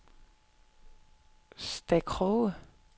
Stakroge